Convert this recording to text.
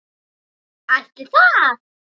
Ætli það?